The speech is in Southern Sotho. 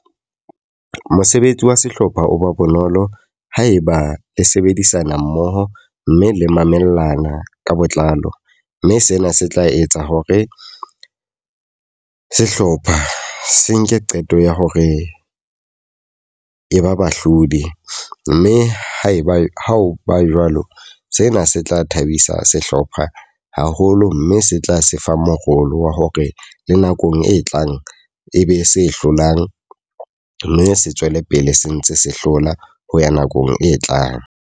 Mosebetsi wa sehlopha o be bonolo haeba le sebedisana mmoho mme le mamellana ka botlalo. Mme sena se tla etsa hore sehlopha se nke qeto ya hore e ba bahlodi. Mme haeba ha o ba jwalo, sena se tla thabisa sehlopha haholo mme se tla se fa morolo wa hore le nakong e tlang e be se hlolang. Mme se tswele pele se ntse se hlola ho ya nakong e tlang.